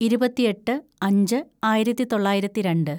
ഇരുപത്തെട്ട് അഞ്ച് ആയിരത്തിതൊള്ളായിരത്തി രണ്ട്